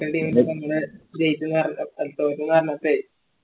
local team ൻറെപ്പം നിങ്ങള് ജയിച്ചുന്ന് അറി അല്ല തൊറ്റുന്ന് അറിഞ്ഞപ്പെ